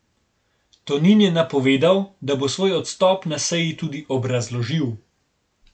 Tonin je napovedal, da bo svoj odstop na seji tudi obrazložil.